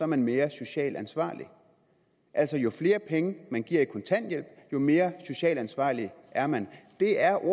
man mere socialt ansvarlig altså jo flere penge man giver i kontanthjælp jo mere socialt ansvarlig er man det er